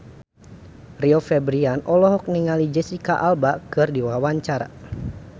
Rio Febrian olohok ningali Jesicca Alba keur diwawancara